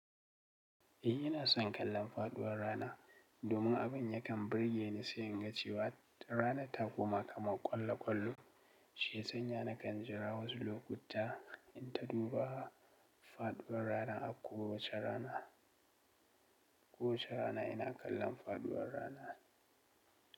Eh ina son kallon faɗuwar rana, domin abin yakan burge ni sai in ga cewa ranar ta koma kamar ƙwallo-ƙwallo. Shi sanya nakan jira wasu lokuta, in ta duba faɗuwar rana a kowace rana. Kowace rana ina kallon faɗuwar rana.